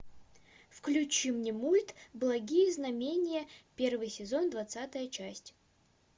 включи мне мульт благие знамения первый сезон двадцатая часть